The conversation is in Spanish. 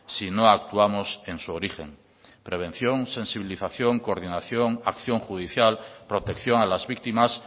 si no actuamos en su origen prevención sensibilización coordinación acción judicial protección a las víctimas